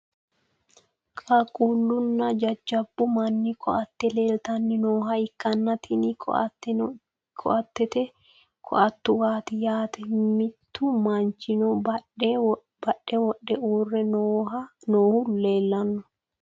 qaaqquullunna jajjabbu manni koatte leeltanni nooha ikkanna, tini koatteno kitote koattuwaati yaate . mittu manchino badhe wodhe uurre noohu leelanno.